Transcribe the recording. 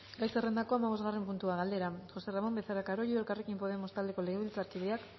gai zerrendako hamabosgarren puntua galdera josé ramón becerra carollo elkarrekin podemos taldeko legebiltzarkideak